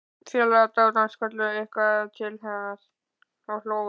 Félagar dátans kölluðu eitthvað til hans og hlógu.